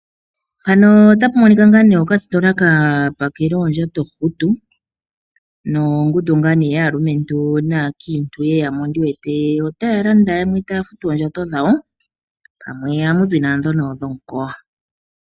Okasitola kapakela oondjato ohutu nongundu yaalumentu naankiitu taya landa nokufuta oondjato dhawo pamwe ohamu zi nandhono dhomukowa.